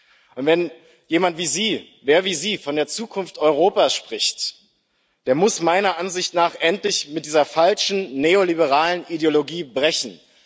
Und wenn jemand wie Sie, wer wie Sie von der Zukunft Europas spricht, der muss meiner Ansicht nach endlich mit dieser falschen neoliberalen Ideologie brechen.